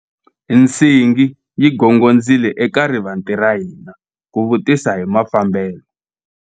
Nsingi yi gongondzile eka rivanti ra hina ku vutisa hi mafambelo.